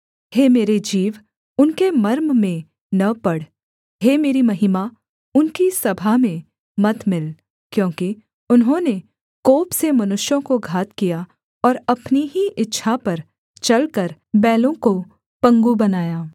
हे मेरे जीव उनके मर्म में न पड़ हे मेरी महिमा उनकी सभा में मत मिल क्योंकि उन्होंने कोप से मनुष्यों को घात किया और अपनी ही इच्छा पर चलकर बैलों को पंगु बनाया